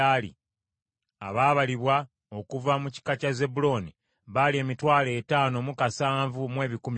Abaabalibwa okuva mu kika kya Zebbulooni baali emitwalo etaano mu kasanvu mu ebikumi bina (57,400).